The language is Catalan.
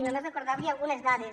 només recordar li algunes dades